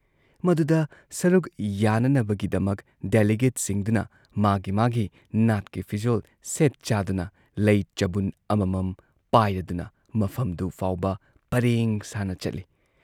ꯃꯗꯨꯗ ꯁꯔꯨꯨꯛ ꯌꯥꯅꯅꯕꯒꯤꯗꯃꯛ ꯗꯦꯂꯤꯒꯦꯠꯁꯤꯡꯗꯨꯅ ꯃꯥꯒꯤ ꯃꯥꯒꯤ ꯅꯥꯠꯀꯤ ꯐꯤꯖꯣꯜ ꯁꯦꯠ ꯆꯥꯗꯨꯅ ꯂꯩ ꯆꯕꯨꯟ ꯑꯃꯃꯝ ꯄꯥꯏꯔꯗꯨꯅ ꯃꯐꯝꯗꯨ ꯐꯥꯎꯕ ꯄꯔꯦꯡ ꯁꯥꯟꯅ ꯆꯠꯂꯤ ꯫